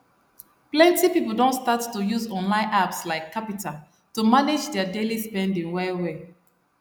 plenty people don start to use online apps like qapital to manage their daily spending well well